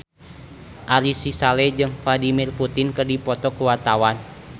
Ari Sihasale jeung Vladimir Putin keur dipoto ku wartawan